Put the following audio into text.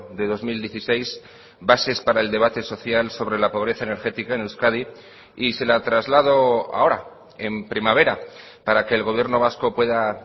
de dos mil dieciséis bases para el debate social sobre la pobreza energética en euskadi y se la traslado ahora en primavera para que el gobierno vasco pueda